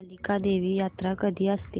कालिका देवी यात्रा कधी असते